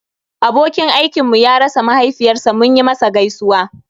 Abokin aikinmu ya rasa mahaifiyar sa munyi masa gaisuwa